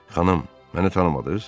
Xanım, məni tanımadınız?